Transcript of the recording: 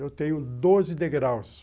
Eu tenho doze degraus.